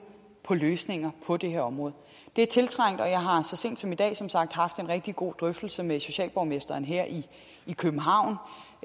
på løsninger på det her område det er tiltrængt og jeg har så sent som i dag haft en rigtig god drøftelse med socialborgmesteren her i københavn